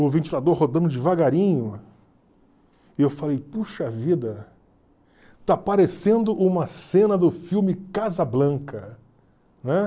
o ventilador rodando devagarinho, e eu falei, puxa vida, está parecendo uma cena do filme Casablanca.